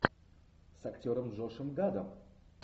с актером джошем гадом